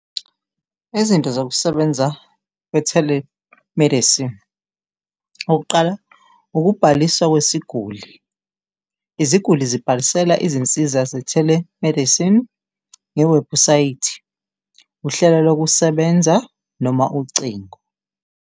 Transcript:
Izinto zokusebenza kwe-telemedicine okokuqala ukubhaliswa kwesiguli, iziguli zibhalisela izinsiza ze-telemedicine nge webhusayithi uhlelo lokusebenza noma ucingo.